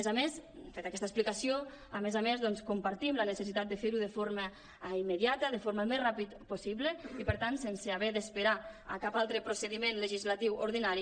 feta aquesta explicació a més a més compartim la necessitat de fer·ho de forma immediata de la forma més ràpida possible i per tant sense haver d’esperar a cap altre procediment legislatiu ordinari